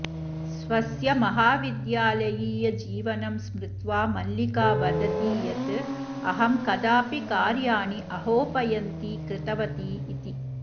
स्वस्य महाविद्यालयीयजीवनं स्मृत्वा मल्लिका वदति यत् अहं कदापि कार्याणि अगोपयन्ती कृतवती इति